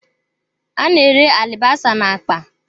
A na-ere alibasa na akpa.